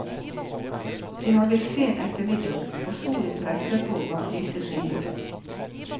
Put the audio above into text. Det har blitt sen ettermiddag, og solen presser på bak lyse skyer.